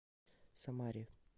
самаре